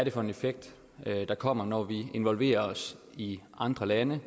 er for en effekt der kommer når vi involverer os i andre lande